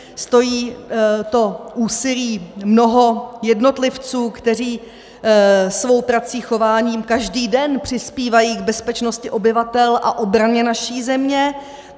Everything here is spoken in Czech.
Stojí to úsilí mnoha jednotlivců, kteří svou prací, chováním každý den přispívají k bezpečnosti obyvatel a obraně naší země.